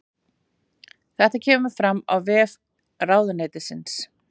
Þetta kemur fram á vef ráðuneytisins